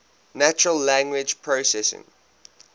natural language processing